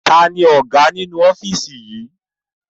Taàní Ọ̀gá nínú ofiisi yí?